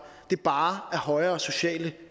bare er højere sociale